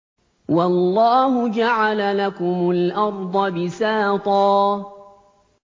وَاللَّهُ جَعَلَ لَكُمُ الْأَرْضَ بِسَاطًا